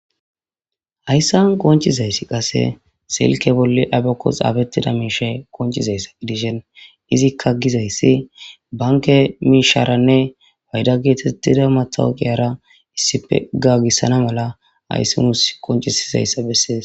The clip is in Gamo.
Hayssan qoncizayssi qase silke bolle aypekos abettida miishe koncizayssa gidishen izikka gizayssi banke miisharanne hayda geetettida matawqiyara issipe ga gissana mala hayssi mus koncisizayssa bessees